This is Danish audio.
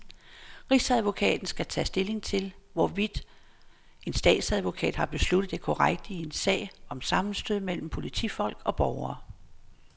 Rigsadvokaten skal tage stilling til, hvorvidt en statsadvokat har besluttet det korrekte i en sag om sammenstød mellem politifolk og borgere.